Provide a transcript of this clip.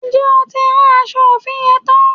Ǹjẹ́ o ti rán aṣọ òfì yẹn tán?